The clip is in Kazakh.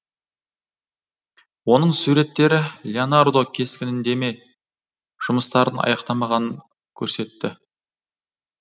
оның суреттері леонардо кескіндеме жұмыстарын аяқтамағанын көрсетті